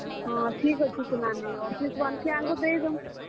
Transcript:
ହଁ, ଠିକ୍ ଅଛେ ସେ ନାନୀ। office ବାଲେ କେ ଆଘୋ ଦେଇ ଦଉଁ।